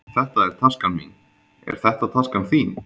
Þetta er taskan mín. Er þetta taskan þín?